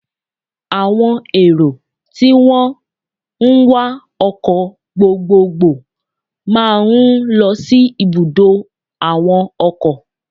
Àwo èrò tí wón ń wá ọkọ̀ gbogbogbò máa ń lo sí ibùdó àwọn ọkọ̀.